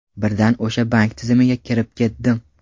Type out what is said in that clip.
Birdan o‘sha bank tizimiga kirib ketdim.